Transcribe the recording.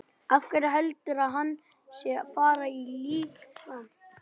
Af hverju heldurðu að hann sé að fara í líkamsrækt?